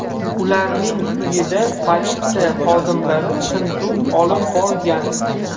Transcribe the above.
Ularning uyida politsiya xodimlari tintuv olib borgan.